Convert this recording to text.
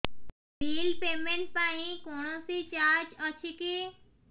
bill payment ପାଇଁ କୌଣସି charge ଅଛି କି